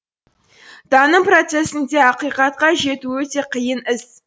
таным процесінде ақиқатқа жету өте қиын іс